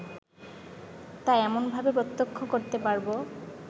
তা এমনভাবে প্রত্যক্ষ করতে পারব